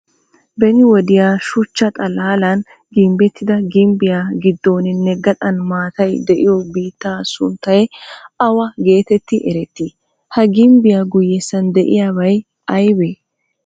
Beni wodiya shuchchaal xalaalan ginbbettida gimbbiya qiddooninne gaxan maatay diyo biittaa sunttay awa geetetti erettii? Ha gimbbiya guyyessan diyaabay ayibee?